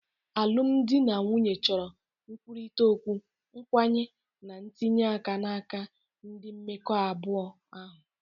Alụmdi na nwunye chọrọ nkwurịta okwu, nkwenye, na ntinye aka n'aka ndị mmekọ abụọ ahụ.